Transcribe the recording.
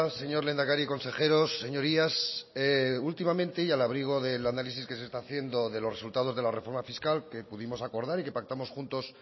señor lehendakari consejeros señorías últimamente y al abrigo del análisis que se está haciendo de los resultados de la reforma fiscal que pudimos acordar y que pactamos juntos